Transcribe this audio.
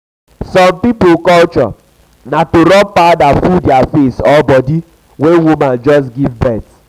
some pipo culture na to rub powder full their face or body or body when woman just give birth